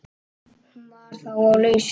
Hún var þá á lausu!